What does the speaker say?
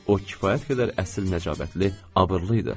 O kifayət qədər əsil nəcabətli, abırlı idi.